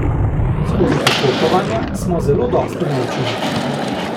Skozi popotovanja smo zelo dosti naučili.